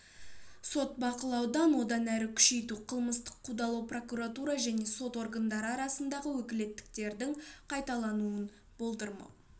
сот бақылауын одан әрі күшейту қылмыстық қудалау прокуратура және сот органдары арасындағы өкілеттіктердің қайталануын болдырмау